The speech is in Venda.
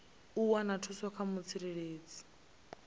u wana thuso kha mutsireledzi